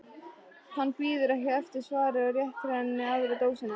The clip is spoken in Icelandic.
Hann bíður ekki eftir svari og réttir henni aðra dósina.